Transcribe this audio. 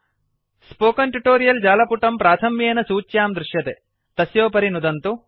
spoken tutorial जालपुटं प्राथम्येन सूच्यां दृश्यते तस्योपरि नुदन्तु